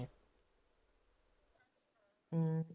ਹੂੰ